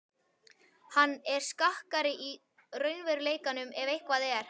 Hann er skakkari í raunveruleikanum ef eitthvað er.